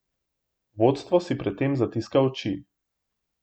Vodstvo si pred tem zatiska oči.